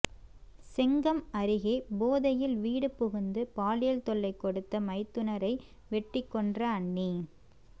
செங்கம் அருகே போதையில் வீடு புகுந்து பாலியல் தொல்லை கொடுத்த மைத்துனரை வெட்டிக்கொன்ற அண்ணி